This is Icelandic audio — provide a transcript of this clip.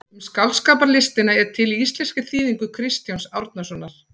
Um skáldskaparlistina er til í íslenskri þýðingu Kristjáns Árnasonar.